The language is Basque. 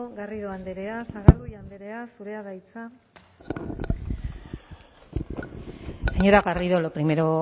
garrido andrea sagardui andrea zurea da hitza señora garrido lo primero